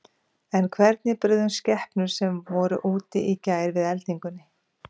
En hvernig brugðust skepnur sem voru úti í gær við eldingunni?